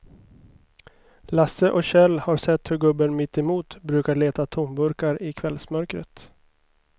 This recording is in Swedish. Lasse och Kjell har sett hur gubben mittemot brukar leta tomburkar i kvällsmörkret.